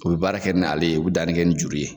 U bɛ baara kɛ ni ale ye, u bɛ danni kɛ nin juru ye.